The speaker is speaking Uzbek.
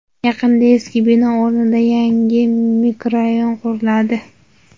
Yaqinda eski bino o‘rnida yangi mikrorayon quriladi.